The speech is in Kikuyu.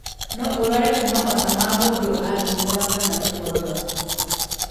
No ũrware kuma mata ma mũndũ athimũra kana gũkorora.